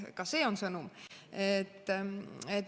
Ka see on sõnum.